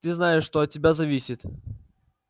ты знаешь что от тебя зависит